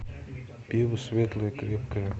пиво светлое крепкое